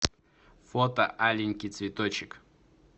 фото аленький цветочек